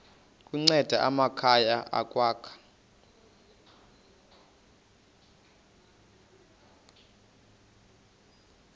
kunceda amakhaya ukwakha